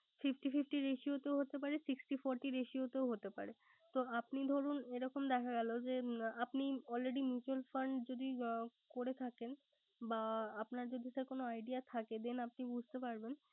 Fifty fifty ratio তেও হতে পারে sixty forty ratio তেও হতে পারে। তো আপনি ধরুন এরকম দেখা গেল আপনি already mutual fund যদি করে থাকেন বা আপনার যদি sir কোন idea থাকে then বুঝতে পারবেন